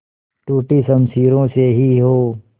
टूटी शमशीरों से ही हो